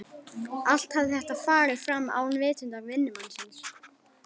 Allt hafði þetta farið fram án vitundar vinnumannsins.